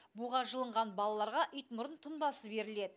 буға жылынған балаларға итмұрын тұнбасы берілед